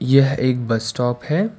यह एक bus stop है।